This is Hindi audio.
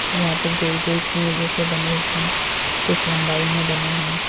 यहां पे गोल गोल कुएं जैसे बने हुए हैं कुछ लम्बाई में बने हैं।